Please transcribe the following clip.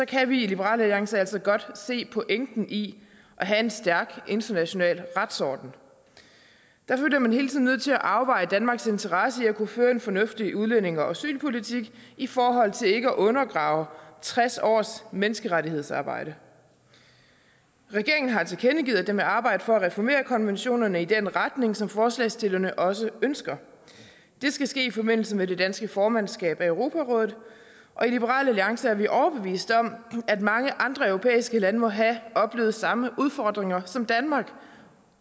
kan vi i liberal alliance altså godt se pointen i at have en stærk international retsorden derfor er man hele tiden nødt til at afveje danmarks interesse i at kunne føre en fornuftig udlændinge og asylpolitik i forhold til ikke at undergrave tres års menneskerettighedsarbejde regeringen har tilkendegivet at den vil arbejde for at reformere konventionerne i den retning som forslagsstillerne også ønsker det skal ske i forbindelse med det danske formandskab for europarådet og i liberal alliance er vi overbeviste om at mange andre europæiske lande må have oplevet samme udfordringer som danmark